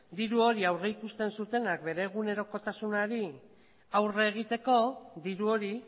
diru hori aurrikusten zituztenak bere egunerokotasunari aurre egiteko diru hori